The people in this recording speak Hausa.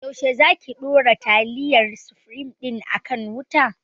Yaushe za ki ɗora taliyar sufrim din a kan wuta?